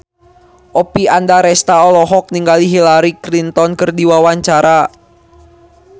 Oppie Andaresta olohok ningali Hillary Clinton keur diwawancara